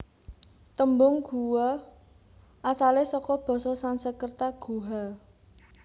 Tembung guwa asale saka basa Sanskerta guha